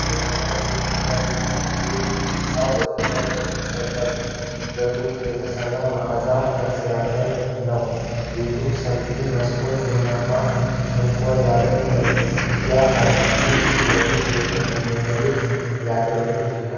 ዘመናዊ የኢትዮጵያ ቤት ነው። ሕንፃው በድንጋይና በጡብ የተሠራ ማዕዘን ቅርጽ ያለው ነው። ቤቱ ሰፋፊ መስኮቶችና ቡናማ ሸንኮር ያለባቸው መዝጊያዎች አሉት። ይህም ለሱቅ ወይም ለመኖሪያ ቤት ሊያገለግል ይችላል ።